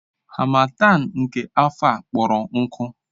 Harmattan nke afọ a kpọrọ nkụ.